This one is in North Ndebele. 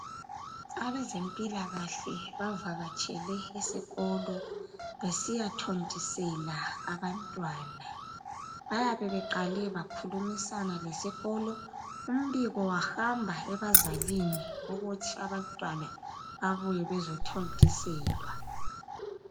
Abezempilakahle bavakatshele esikolo besiyathontisela abantwana. Bayabe beqale bakhulumisana lesikolo, umbiko wahamba ebazalini ukuthi abantwana babuye bezothontiselwa.